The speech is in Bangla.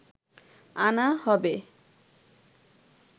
আনা হবে